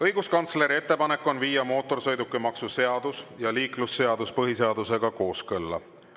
Õiguskantsleri ettepanek on viia mootorsõidukimaksu seadus ja liiklusseadus põhiseadusega kooskõlla.